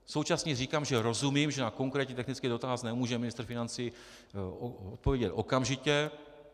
Současně říkám, že rozumím, že na konkrétní technický dotaz nemůže ministr financí odpovědět okamžitě.